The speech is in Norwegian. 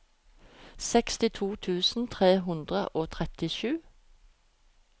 sekstito tusen tre hundre og trettisju